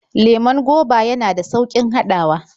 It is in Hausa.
Lemon goba yana da sauƙin haɗawa.